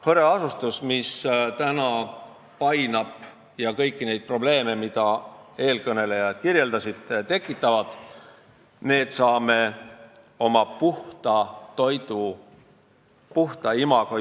Näiteks hõreasustuse, mis meid painab ja tekitab kõiki neid probleeme, mida eelkõnelejad kirjeldasid, saaksime oma tugevuseks pöörata, kui aluseks oleks puhta riigi imago.